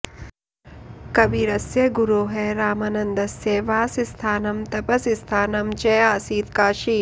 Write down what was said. कबीरस्य गुरोः रामानन्दस्य वासस्थानं तपस्स्थानं च आसीत् काशी